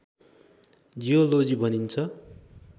geology भनिन्छ